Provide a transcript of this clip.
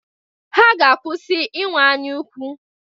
Ha ga-akwụsị inwe anyaukwu.